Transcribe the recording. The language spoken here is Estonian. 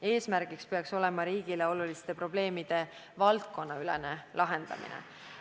Eesmärk peaks olema riigile oluliste probleemide valdkonnaülene lahendamine.